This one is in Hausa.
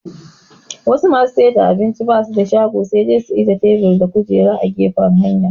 Wasu masu saida abincin basu da shago sai dai su ajiye tebur da kujera a gefen hanya